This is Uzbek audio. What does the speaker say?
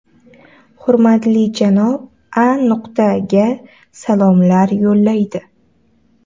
hurmatli janob A.ga salomlar yo‘llaydi.